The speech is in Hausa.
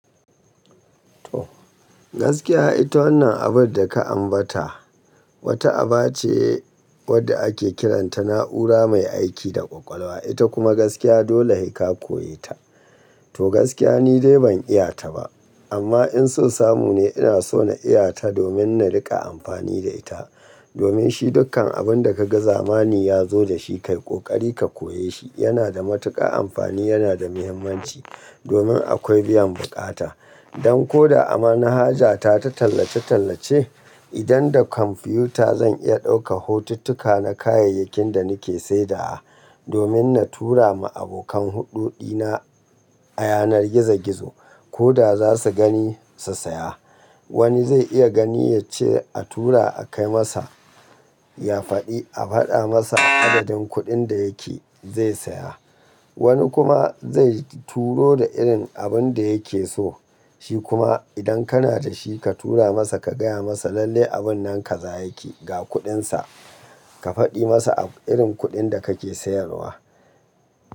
To gaskiya ita wannan abun da ka ambata wata aba ce wadda ake kiranta na'ura mai aiki da ƙwaƙwalwa, ita kuma gaskiya dole haka ka koya ta. To gaskiya ni dai ban iya ta ba amma in so samu ne ina so na iya ta domin na riƙa amfani da ita. Domin shi dukkan abun da ka ga zamani ya zo da shi kai ƙoƙari ka koya shi, yana da matuƙa amfani, yana da muhimmanci domin akwai biyan buƙata. Don ko da ama na haja ta ta tallace-tallace idan da kwamfiyuta zan iya ɗauka hotuttuka na kayayyakin da nake sayarwa domin na tura ma abokan huɗu dina a yanar gizo-gizo ko da za su gani su saya. Wani zai iya gani ya ce a tura a kai masa ya faɗi, a faɗa masa adadin kuɗin da yake zai saya. Wani kuma zai turo da irin abin da yake so, shi kuma idan kana da shi ka tura masa ka gaya masa lalle abun nan ka za yake ga kuɗinsa ka faɗi masa a irin kuɗin da kake sayarwa.